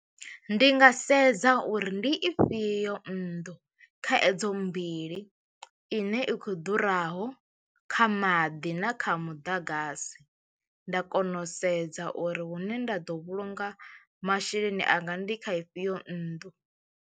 Ndi nga sedza uri ndi ifhio nnḓu kha edzo mbili ine i khou ḓuraho kha maḓi na kha muḓagasi nda kona u sedza uri hune nda ḓo vhulunga masheleni anga ndi kha ifhio nnḓu.